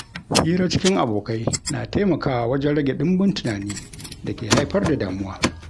Hira cikin abokai na taimakawa wajen rage ɗimbin tunani da ke haifar da damuwa.